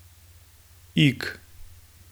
Ig.